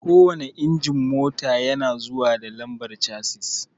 Kowanne injin mota yana zuwa da lambar chasis